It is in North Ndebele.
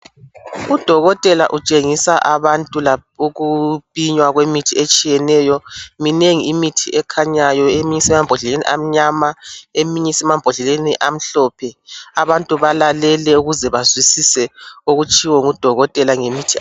Udokotela utshengisa abantu ukupinywa kwemithi etshiyeneyo minengi imithi ekhanyayo eminye isemambodleleni amnyama eyinye emambodleleni amhlophe abantu balalele ukuze bazwisise okutshiwo ngudokotela ngemithi.